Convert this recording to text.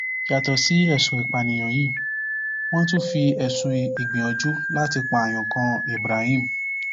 yàtọ sí ẹsùn ìpànìyàn yìí wọn tún fi ẹsùn ìgbìyànjú láti pààyàn kan ibrahim